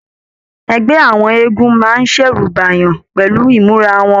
Ẹgbẹ àwọn eégún máa n ṣẹ̀rù bèèyàn pẹlú imura wọn.